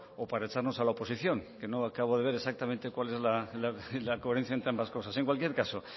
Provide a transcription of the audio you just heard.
o para echarnos a la oposición que no acabo de ver exactamente cuál es la coherencia entre ambas cosas en cualquier caso